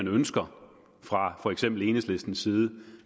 ønsker fra for eksempel enhedslistens side